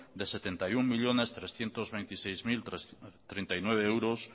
de setenta y uno millónes trescientos veintiséis mil treinta y nueve euros